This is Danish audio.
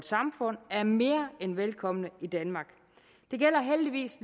samfund er mere end velkomne i danmark det gælder heldigvis